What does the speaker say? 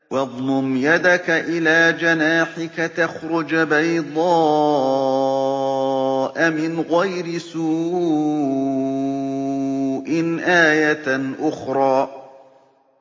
وَاضْمُمْ يَدَكَ إِلَىٰ جَنَاحِكَ تَخْرُجْ بَيْضَاءَ مِنْ غَيْرِ سُوءٍ آيَةً أُخْرَىٰ